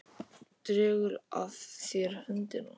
Dregur að þér höndina.